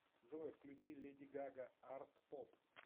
джой включи леди гага артпоп